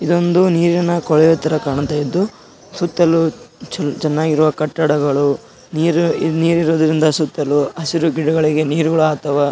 ಇದೊಂದು ನೀರಿನ ಕೊಳವೆ ತರ ಕಾಣ್ತಾ ಇದ್ದು ಸುತ್ತಲೂ ಚೆನ್ನಾಗಿರುವ ಕಟ್ಟಡಗಳು ನೀರ್ ಇರೋದ್ರಿಂದ ಸುತ್ತಲೂ ಹಸಿರು ಗಿಡಗಳಿಗೆ ನೀರು ಅಥವಾ--